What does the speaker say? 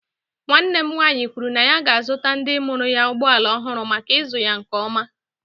Nwanne m nwaanyị kwuru na ya ga-azụta ndị mụrụ anyị ụgbọ ala ọhụrụ maka ịzụ ya nke ọma.